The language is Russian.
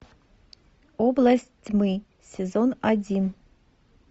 область тьмы сезон один